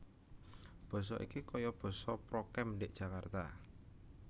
Boso iki koyo boso prokem ndik Jakarta